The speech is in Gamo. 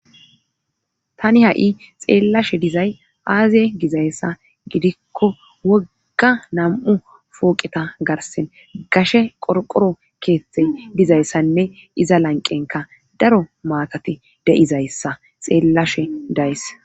tani ha7i xeellashe dizay aaziye gizayssa gidikko wogga nam7u fooqeta garsen gashe qorqoro keethtey dizayssanne iza lanqenka daro maakati de7izayssa xeellashe days